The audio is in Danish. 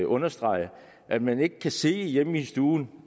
understrege at man ikke kan sidde hjemme i stuen